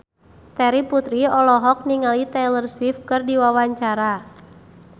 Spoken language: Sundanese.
Terry Putri olohok ningali Taylor Swift keur diwawancara